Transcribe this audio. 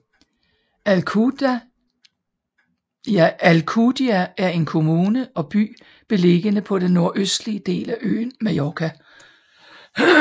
Alcúdia er en kommune og by beliggende på den nordøstlige del af øen Mallorca